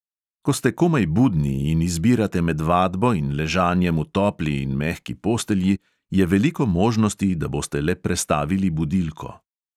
Ko ste komaj budni in izbirate med vadbo in ležanjem v topli in mehki postelji, je veliko možnosti, da boste le prestavili budilko.